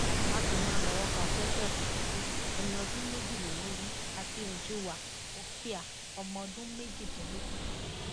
bákan náà lọwọ ba precious chukwu ẹni ọdún méjìlélógún àti ùjúnwà ofiah ọmọ ọdún méjìdínlógún péré